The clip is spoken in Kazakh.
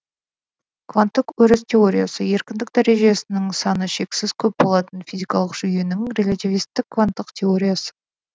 кванттық өріс теориясы еркіндік дәрежесінің саны шексіз көп болатын физикалық жүйенің релятивистік кванттық теориясы